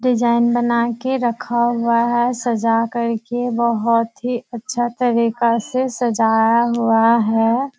Design बना के रखा हुआ है सजा कर के बोहोत ही अच्छा तरीका से सजाया हुआ है।